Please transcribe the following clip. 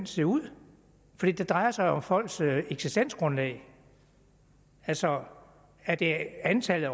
se ud for det drejer sig jo om folks eksistensgrundlag altså er det antallet